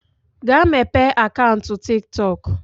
Gaa mepee akaụntụ TikTok.